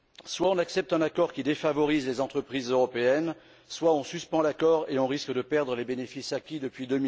Soit on accepte un accord qui défavorise les entreprises européennes, soit on suspend l'accord et on risque de perdre les bénéfices acquis depuis